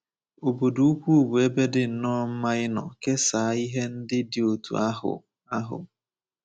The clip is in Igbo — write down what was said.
Obodo ukwu bụ ebe dị nnọọ mma ịnọ kesaa ihe ndị dị otú ahụ. ahụ.